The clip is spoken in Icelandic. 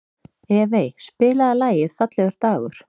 Evey, spilaðu lagið „Fallegur dagur“.